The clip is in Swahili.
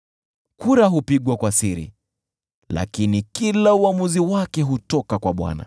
Kura hupigwa kwa siri, lakini kila uamuzi wake hutoka kwa Bwana .